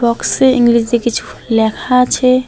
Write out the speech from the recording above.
বক্সে ইংলেজিতে কিছু লেখা আছে।